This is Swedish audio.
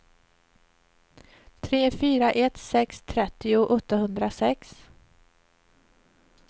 tre fyra ett sex trettio åttahundrasex